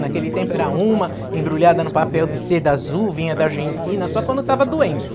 Naquele tempo era uma embrulhada no papel de seda azul, vinha da Argentina, só quando estava doente.